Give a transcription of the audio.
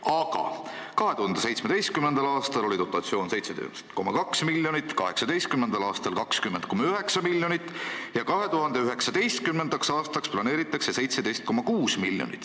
Aga 2017. aastal oli dotatsioon 17,2 miljonit, 2018. aastal 20,9 miljonit ja 2019. aastaks planeeritakse 17,6 miljonit.